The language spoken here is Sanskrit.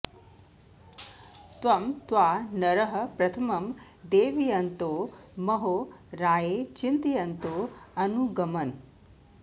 तं त्वा नरः प्रथमं देवयन्तो महो राये चितयन्तो अनु ग्मन्